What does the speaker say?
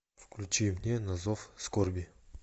включи мне на зов скорби